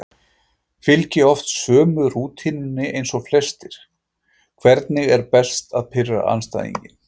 Fylgi oft sömu rútínunni eins og flestir Hvernig er best að pirra andstæðinginn?